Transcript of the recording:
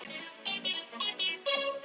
Hún. hún er að vinna stamaði Lilla.